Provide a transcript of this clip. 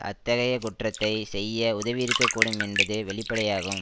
அத்தகைய குற்றத்தை செய்ய உதவியிருக்கக்கூடும் என்பது வெளிப்படையாகும்